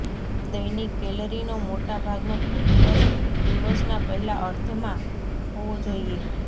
દૈનિક કેલરીનો મોટા ભાગનો દિવસ દિવસના પહેલા અર્ધમાં હોવો જોઈએ